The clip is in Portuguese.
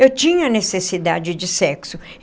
Eu tinha necessidade de sexo.